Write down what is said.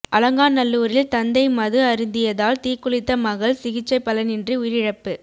அலங்காநல்லூரில் தந்தை மது அருந்தியதால் தீக்குளித்த மகள் சிகிச்சை பலனின்றி உயிரிழப்பு